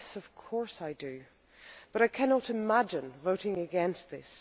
Yes, of course, but I cannot imagine voting against this.